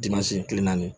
kile naani